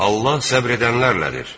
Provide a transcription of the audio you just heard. Allah səbr edənlərlədir.